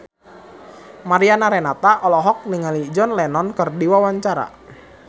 Mariana Renata olohok ningali John Lennon keur diwawancara